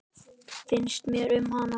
Finnst mér um hana?